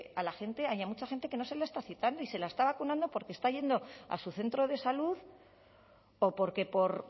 haya mucha gente que no se le está citando y se está yendo a su centro de salud o porque por